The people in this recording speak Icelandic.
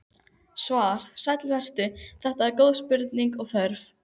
Svar: Sæll vertu, þetta eru góð spurning og þörf.